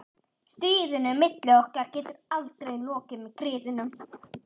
Stríðinu milli okkar getur aldrei lokið með griðum.